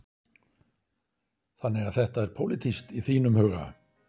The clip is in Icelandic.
Þannig að þetta er pólitískt í þínum huga?